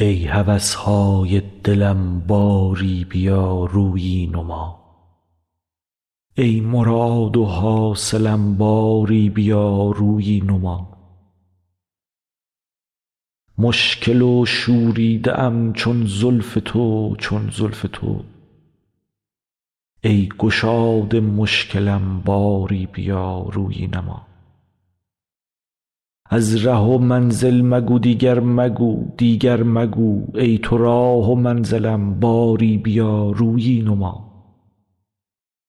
ای هوس های دلم باری بیا رویی نما ای مراد و حاصلم باری بیا رویی نما مشکل و شوریده ام چون زلف تو چون زلف تو ای گشاد مشکلم باری بیا رویی نما از ره و منزل مگو دیگر مگو دیگر مگو ای تو راه و منزلم باری بیا رویی نما